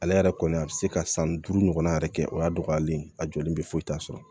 Ale yɛrɛ kɔni a bɛ se ka san duuru ɲɔgɔn yɛrɛ kɛ o y'a dɔgɔyalen ye a jɔlen bɛ foyi t'a sɔrɔ